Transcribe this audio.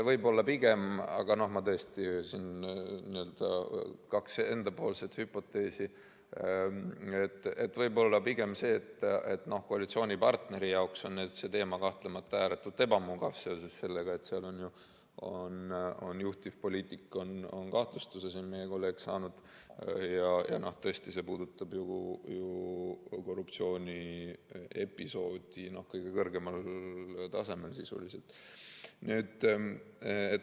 Võib-olla pigem see – aga ma tõesti esitan siin vaid kaks enda hüpoteesi –, et koalitsioonipartneri jaoks on see teema kahtlemata ääretult ebamugav seoses sellega, et seal on saanud kahtlustuse juhtivpoliitik, meie kolleeg, ja tõesti, see puudutab sisuliselt ju korruptsiooniepisoodi kõige kõrgemal tasemel.